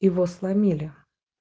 его сломили